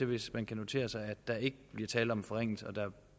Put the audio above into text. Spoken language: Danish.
hvis man kan notere sig at der ikke bliver tale om en forringelse og at der